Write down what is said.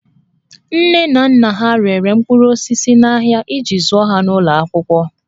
Nne na nna ha rere mkpụrụ osisi n'ahịa iji zụọ ha n'ụlọ akwụkwọ